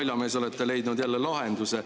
Te, naljamees, olete leidnud jälle lahenduse.